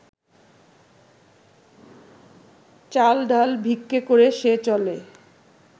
চাল ডাল ভিক্ষে করে সে চলে